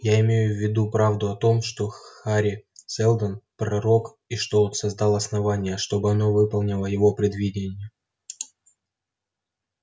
я имею в виду правду о том что хари сэлдон пророк и что он создал основание чтобы оно выполнило его предвидение